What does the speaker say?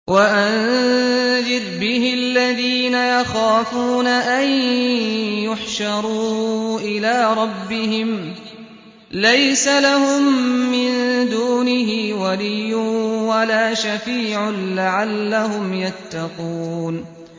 وَأَنذِرْ بِهِ الَّذِينَ يَخَافُونَ أَن يُحْشَرُوا إِلَىٰ رَبِّهِمْ ۙ لَيْسَ لَهُم مِّن دُونِهِ وَلِيٌّ وَلَا شَفِيعٌ لَّعَلَّهُمْ يَتَّقُونَ